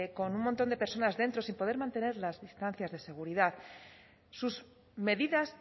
con un montón de personas dentro sin poder mantener las distancias de seguridad sus medidas